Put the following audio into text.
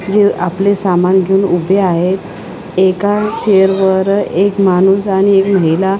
जे आपले सामान घेऊन उभे आहेत एका चेअर वर एक माणूस आणि एक महिला --